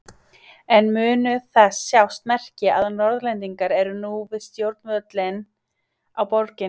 En munu þess sjást merki að Norðlendingar eru nú við stjórnvölinn á Borginni?